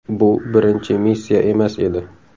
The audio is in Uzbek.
Bu birinchi missiya emas edi.